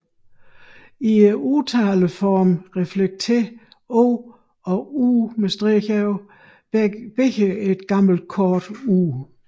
I udtaleformerne reflekterer o og ù begge et gammelt kort u